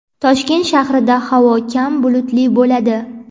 Toshkent shahrida havo kam bulutli bo‘ladi.